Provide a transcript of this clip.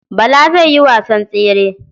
Bala zai yi wasan tsere.